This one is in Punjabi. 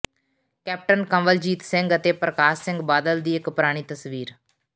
ਕੈਪਟਨ ਕੰਵਲਜੀਤ ਸਿੰਘ ਅਤੇ ਪ੍ਰਕਾਸ਼ ਸਿੰਘ ਬਾਦਲ ਦੀ ਇੱਕ ਪੁਰਾਣੀ ਤਸਵੀਰ